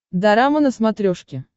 дорама на смотрешке